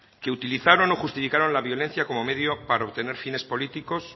que utilizaron o justificaron la violencia como medio para obtener finen políticos